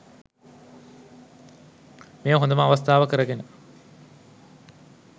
මෙය හොදම අවස්ථාව කරගෙන